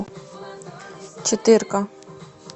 четыре ка